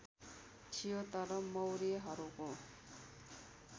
थियो तर मौर्यहरूको